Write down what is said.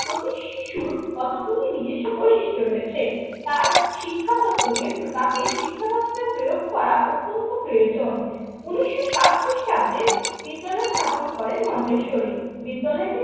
প্রতি শিশুর কতগুলি নিজস্ব বৈশিষ্ট্য রয়েছে তার শিক্ষা পত্রকে প্রপাতে শিক্ষা দপ্তর প্রয়োগ করা অত্যন্ত প্রয়োজন। উনিশশো সাত খ্রিস্টাব্দে বিদ্যালয় স্থাপন করেন মন্তেশ্বরী। বিদ্যালয়টির